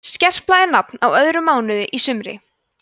skerpla er nafn á öðrum mánuði í sumri